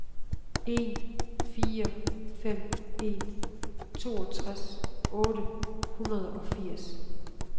en fire fem en toogtres otte hundrede og firs